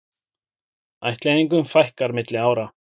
Ættleiðingum fækkar milli ára